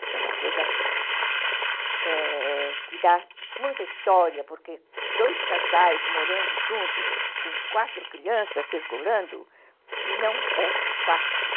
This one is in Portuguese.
Isso é uma coisa é... que dá muita história, porque dois casais morando junto, com quatro crianças circulando, não é fácil.